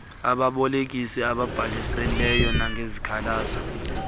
ababolekisi ababhalisileyo nangezikhalazo